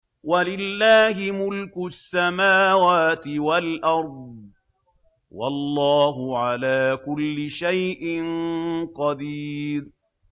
وَلِلَّهِ مُلْكُ السَّمَاوَاتِ وَالْأَرْضِ ۗ وَاللَّهُ عَلَىٰ كُلِّ شَيْءٍ قَدِيرٌ